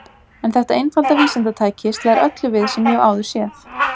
En þetta einfalda vísindatæki slær öllu við sem ég hef áður séð.